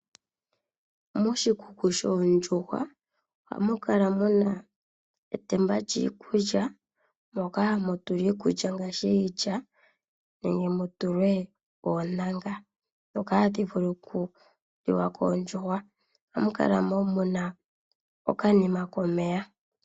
Moshikuku shoondjuhwa ohamu kala mu na etemba lyiikulya moka hamu tulwa iikulya ngaashi iilya nenge mu tulwe oontanga ndhoka hadhi vulu oku liwa koondjuhwa. Ohamu kala wo mu na okanima komeya.